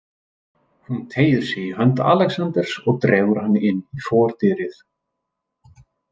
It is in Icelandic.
Hún teygir sig í hönd Alexanders og dregur hann inn í fordyrið.